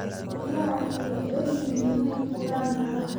Riyaha waxay jecel yihiin inay fuulaan buuraha.